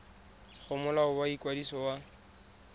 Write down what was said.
go molao wa ikwadiso wa